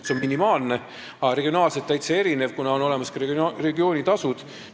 See on minimaalne, aga on regionaalselt täitsa erinev, kuna on olemas ka regioonitasud.